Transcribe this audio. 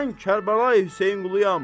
Mən Kərbəlayı Hüseynquluyam.